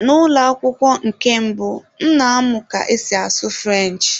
N'ụlọ akwụkwọ nke mbụ, m na-amụ ka esi asụ French.